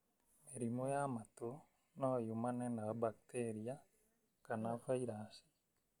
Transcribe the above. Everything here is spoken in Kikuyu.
Mĩrimũ ya matũ no yumane na bakiteria kana vairaci.